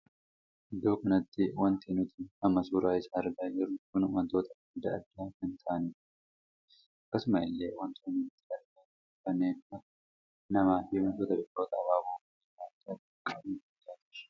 Iddoo kanatti wanti nuti amma suuraa isaa argaa jirru kun wantoota addaa addaa kan taa'anidha. akkasuma illee wantoonni nuti argaa jirru kanneen akka namaa fi wantoota biqiloota abaaboo bareedaa addaa addaa qaban argaa jirra.